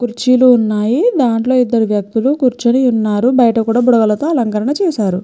కుర్చీలు ఉన్నాయి దాంట్లో ఇద్దరు వ్యక్తులు కూర్చుని ఉన్నారు బయట కూడా బుడగలతో అలంకారం చేసు ఉన్నారు.